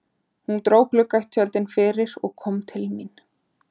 Hún dró gluggatjöldin fyrir og kom til mín.